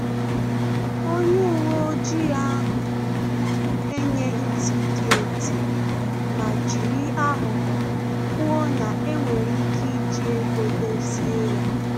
Onye uwe ojii ahụ enyeghi tiketi ma jiri aghụghọ kwuo na enwere ike iji ego dozie ya